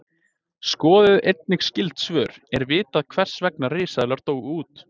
Skoðið einnig skyld svör: Er vitað hvers vegna risaeðlur dóu út?